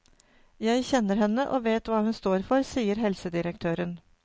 Jeg kjenner henne og vet hva hun står for, sier helsedirektøren.